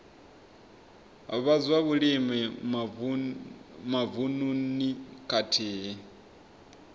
vha zwa vhulimi mavununi khathihi